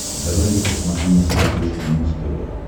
давай я посмотрю на смотрешке муз тв